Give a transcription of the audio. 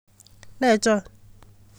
Ne chon?